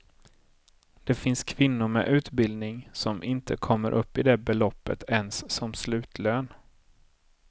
Det finns kvinnor med utbildning, som inte kommer upp i det beloppet ens som slutlön.